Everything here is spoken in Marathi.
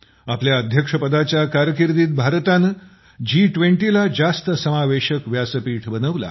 आपल्या अध्यक्षपदाच्या कारकिर्दीत भारताने जी २० ला जास्त समावेशक व्यासपीठ बनवलं आहे